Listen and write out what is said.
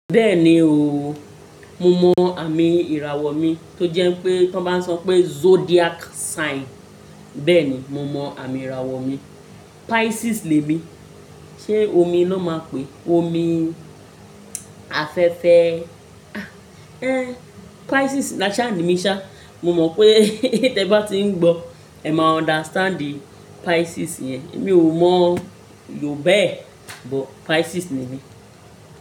Bẹ́ẹ̀ni o, mo mọ àmì ìràwọ̀ mi tó jẹ́ pé tí wọ́n bá so n pé Zodiac sign. Bẹ́ẹ̀ni, mo mọ àmì ìràwọ̀ mi, Pisces lẹ mi. Ṣé omi ló máa pe? Omi afẹ́fẹ́. Ah! Éh! Pisces làṣẹ àní mí ṣá, mo mọ̀ pé tí ẹ bá ti ń gbọ́, ẹ máa understand the Pisces yẹn. Èmi ò mọ̀ yọ bẹ́ẹ̀, but Pisces ni mí.